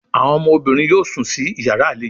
Àwọn ọmọbìnrin yóò sún sí iyàrá àlejò